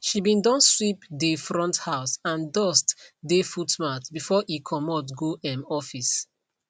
she be don sweep dey front house and dust dey footmat before e comot go um office